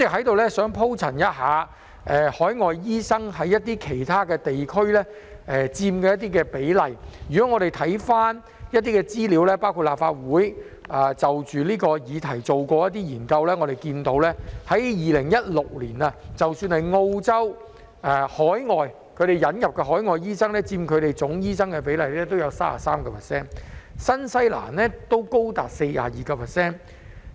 代理主席，就海外醫生在一些其他地區所佔的比例，我們翻看資料，包括立法會秘書處就這項議題所做的研究顯示 ，2016 年澳洲引入海外醫生佔醫生總人數的比例為 33%， 而新西蘭則為 42%。